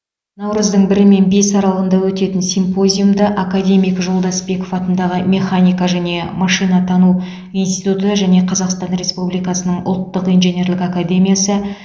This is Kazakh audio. наурыздың бірі мен бесі аралығында өтетін симпозиумда академик жолдасбеков атындағы механика және машинатану институты және қазақстан республикасының ұлттық инженерлік академиясы